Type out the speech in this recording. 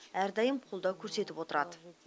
әрдайым қолдау көрсетіп отырады